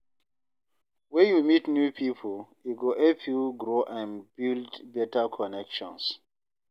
When you meet new people, e go help you grow and build better connections.